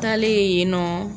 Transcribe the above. Ntalen yen nɔ